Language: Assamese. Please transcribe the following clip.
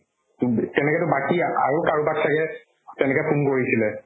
তোক তেনেকেতো বাকি আৰু কাৰোবাক ছাগে তেনেকে ফোন কৰিছিলে